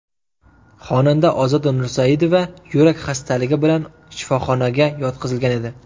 Xonanda Ozoda Nursaidova yurak xastaligi bilan shifoxonaga yotqizilgan edi .